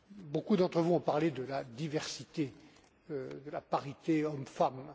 Beaucoup d'entre vous ont parlé de la diversité et de la parité hommes femmes.